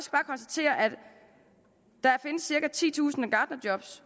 konstatere at der findes cirka titusind gartnerjob